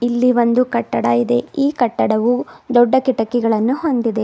ಇಲ್ಲಿ ಒಂದು ಕಟ್ಟಡ ಇದೆ ಈ ಕಟ್ಟಡವು ದೊಡ್ಡ ಕಿಟಕಿಗಳನ್ನು ಹೊಂದಿದೆ.